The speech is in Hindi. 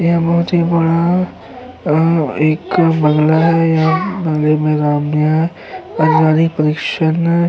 यह बोहोत ही बड़ा एक बंगला है। यहाँ बंगले में रम्य पारिवारिक परीक्षण --